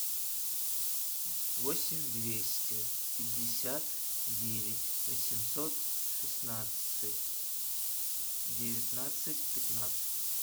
восемь двести пятьдесят девять восемьсот шестнадцать девятнадцать пятнадцать